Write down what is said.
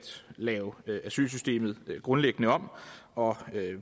lave asylsystemet grundlæggende om og